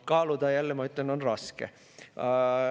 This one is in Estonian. Kaaluda jälle, ma ütlen, on raske.